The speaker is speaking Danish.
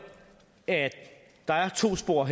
at der er to spor